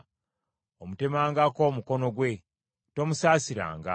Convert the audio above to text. omutemangako omukono gwe. Tomusaasiranga.